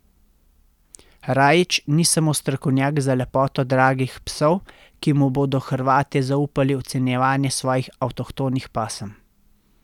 Rajić ni samo strokovnjak za lepoto dragih psov, ki mu bodo Hrvatje zaupali ocenjevanje svojih avtohtonih pasem.